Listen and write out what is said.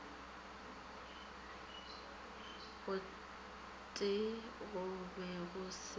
gotee go be go se